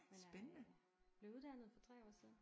Men jeg øh blev uddannet for 3 år siden